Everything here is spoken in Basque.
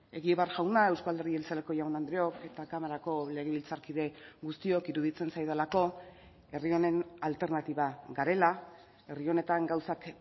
egibar jauna euzko alderdi jeltzaleko jaun andreok eta kamarako legebiltzarkide guztiok iruditzen zaidalako herri honen alternatiba garela herri honetan gauzak